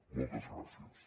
moltes gràcies